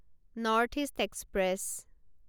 north East express